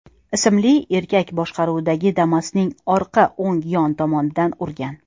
ismli erkak boshqaruvidagi Damas’ning orqa o‘ng yon tomonidan urgan.